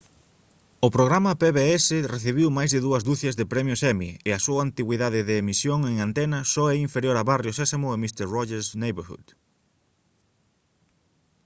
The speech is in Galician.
o programa pbs recibiu máis de dúas ducias de premios emmy e a súa antigüidade de emisión en antena só é inferior a barrio sésamo e mister rogers' neighborhood